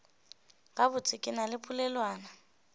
gabotse ke na le polelwana